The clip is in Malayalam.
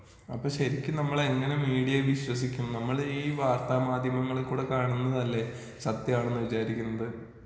അപ്പൊ ശെരിക്കും നമ്മള് എങ്ങനെ മീഡിയയെ വിശ്വസിക്കും? നമ്മളി വാർത്ത മാധ്യമങ്ങളിൽ കൂടി കാണുന്നതല്ലെ സത്യമാണെന്ന് വിചാരിക്കുന്നത്.